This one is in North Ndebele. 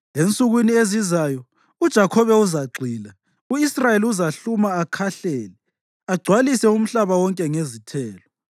Ensukwini ezizayo uJakhobe uzagxila, u-Israyeli uzahluma akhahlele agcwalise umhlaba wonke ngezithelo.